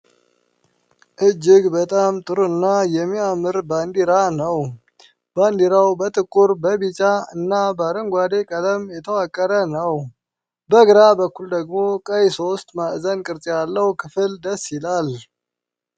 እጅግ በጣም ጥሩ እና የሚያምር ባንዲራ ነው። ባንዲራው በጥቁር፣ በቢጫ እና በአረንጓዴ ቀለም የተዋቀረ ነው። በግራ በኩል ደግሞ ቀይ ሶስት ማዕዘን ቅርፅ ያለው ክፍል ደስ ይላል።